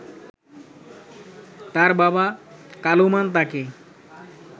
তার বাবা কালুমান তাকে